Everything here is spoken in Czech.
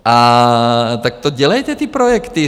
A tak to dělejte, ty projekty.